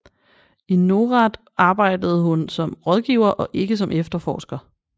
I NORAD arbejder hun som rådgiver og ikke som efterforsker